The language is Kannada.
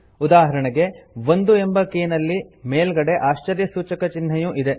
ಉದಾಹರಣೆಗೆ 1 ಎಂಬ ಕೀ ನಲ್ಲಿ ಮೇಲ್ಗಡೆ ಆಶ್ಚರ್ಯಸೂಚಕ ಚಿಹ್ನೆಯೂ ಇದೆ